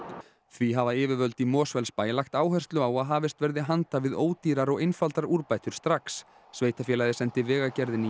því hafa yfirvöld í Mosfellsbæ lagt áherslu á að hafist verði handa við ódýrar og einfaldar úrbætur strax sveitarfélagið sendi Vegagerðinni